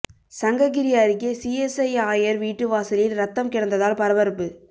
சங்ககிரி அருகே சிஎஸ்ஐ ஆயர் வீட்டு வாசலில் ரத்தம் கிடந்ததால் பரபரப்பு